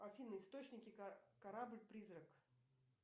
афина источники корабль призрак